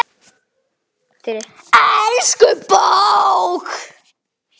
Elsku bók!